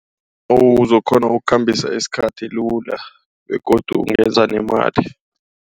Uzokukghona ukukhambisa isikhathi lula begodu ungenza nemali.